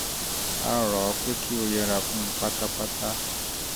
a rọ̀ ọ́ pé kó o yẹra fún un un pátápátá